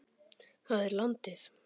Það er landið.